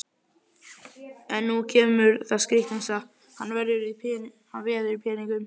En nú kemur það skrítnasta: hann veður í peningum!